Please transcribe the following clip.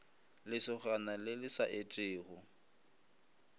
lesogana le le sa etego